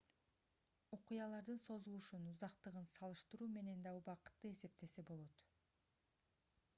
окуялардын созулушун узактыгын салыштыруу менен да убакытты эсептесе болот